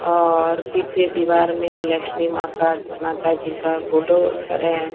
और पीछे दीवार में लक्ष्मी मां का माता जी का फोटो चढ़े हैं।